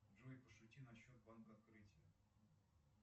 джой пошути на счет банка открытие